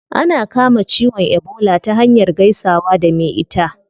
Ana kama ciwon ebola ta hanyar gaisawa da me ita